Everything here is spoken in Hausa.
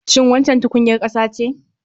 Shin waccan tukunyar ƙasa ce?